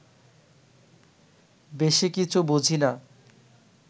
বেশি কিছু বুঝি না